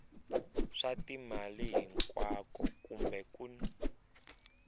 swa timali hinkwako kumbe kun